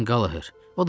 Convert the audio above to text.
O da yaxşıdır.